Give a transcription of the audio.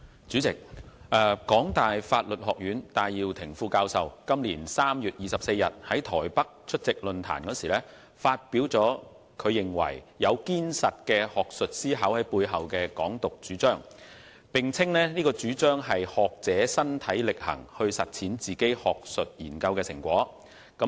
主席，香港大學法律學院戴耀廷副教授於今年3月24日在台北出席論壇時，發表他認為"有堅實的學術思考在背後的'港獨'"主張，並稱該主張是"學者身體力行去實踐自己學術研究的成果"。